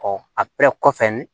a bɛɛ kɔfɛ